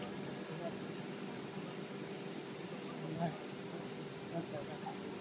खूबसूरत जगह कि बहुत सुंदर है बहुत खूबसूरत जगह है ये।